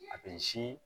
A bɛ sin